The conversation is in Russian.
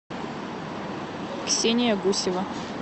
ксения гусева